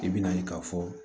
I bɛna ye k'a fɔ